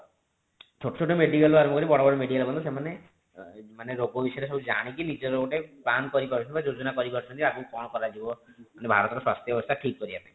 ଛୋଟ ଛୋଟ medical ରୁ ଆରମ୍ଭ କରି ବଡ ବଡ medical ପର୍ଯ୍ୟନ୍ତ ସେମାନେ ମାନେ ରୋଗ ବିଷୟରେ ସବୁ ଜାଣିକି ନିଜର ଗୋଟେ plan କରିପାରୁଛନ୍ତି ବା ଯୋଜୋନା କରିପାରୁଛନ୍ତି ଆଗକୁ ଗୋଟେ କରାଯିବ ମାନେ ଭାରତ ର ସ୍ୱାସ୍ଥ୍ୟ ଅବସ୍ତା ଠିକ କରିବା ପାଇଁ